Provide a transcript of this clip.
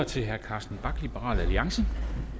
til herre carsten bach liberal alliance